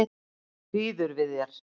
Býður við þér.